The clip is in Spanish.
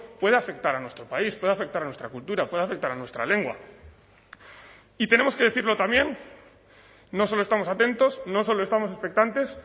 pueda afectar a nuestro país pueda afectar a nuestra cultura pueda afectar a nuestra lengua y tenemos que decirlo también no solo estamos atentos no solo estamos expectantes